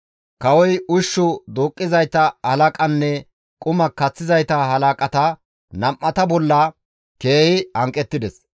Kawoy ushshu duuqqizayta halaqanne quma kaththizayta halaqata nam7ata bolla keehi hanqettides.